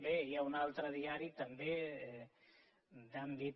bé hi ha un altre diari també d’àmbit